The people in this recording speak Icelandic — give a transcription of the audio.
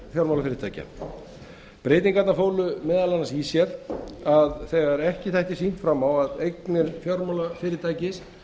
fjármálafyrirtækja breytingarnar fólu meðal annars í sér að þegar ekki þætti sýnt fram á að eignir fjármálafyrirtækis